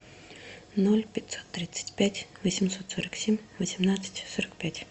ноль пятьсот тридцать пять восемьсот сорок семь восемнадцать сорок пять